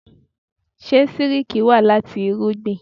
Ṣé sílíkì wá láti irúgbìn?